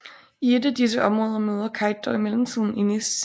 I et af disse områder møder Kite dog i mellemtiden Innis